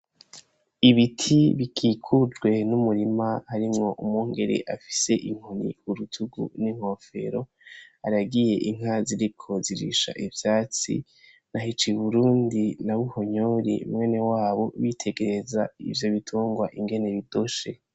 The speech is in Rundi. Ibiti bikikujwe n'umurima harimwo umwungere afise inkoni ku rutugu n'inkofero, aragiye inka ziriko zirisha ivyatsi na Hicuburundi na Buhonyori mwenewabo yitegereza ivyo bitungwa ingene bidoshe.